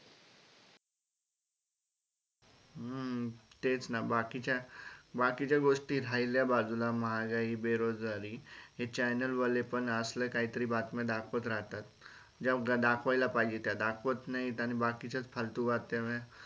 हम्म तेच ना बाकी काय बाकीच्या गोष्टी राहिल्या बाजूला महागाई, बेरोजगारी हे channel वाले पण असलं काहीतरी बातम्या दाखवत राहतात ज्या दाखवायला पाहिजे त्या दाखवत नाही.